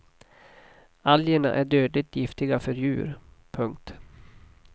Algerna är dödligt giftiga för djur. punkt